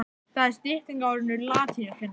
Það er stytting á orðinu latínukennari.